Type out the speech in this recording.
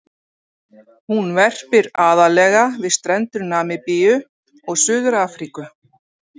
Hún verpir aðallega við strendur Namibíu og Suður-Afríku.